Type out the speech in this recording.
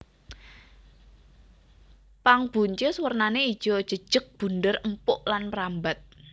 Pang buncis wernané ijo jejeg bunder empuk lan mrambat